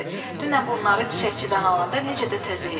Dünən bunları çiçəkçidən alanda necə də təzə idilər.